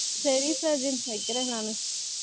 சரி சஜின் வைக்கிறேன் நானு